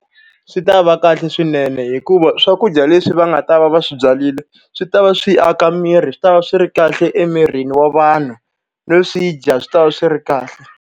Swi ta va kahle swinene hikuva swakudya leswi va nga ta va va swi byarile, swi ta va swi aka miri, swi ta va swi ri kahle emirini wa vanhu. No swi dya, swi ta va swi ri kahle.